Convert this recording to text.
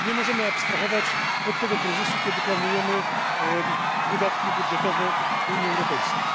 Nie możemy abstrahować od tego kryzysu, kiedy planujemy wydatki budżetowe Unii Europejskiej.